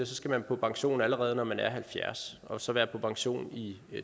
skal på pension allerede når man er halvfjerds og så være på pension i